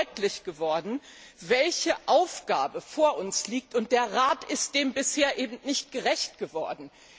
Mir ist deutlich geworden, welche Aufgabe vor uns liegt, und der Rat ist dem bisher eben nicht gerecht geworden.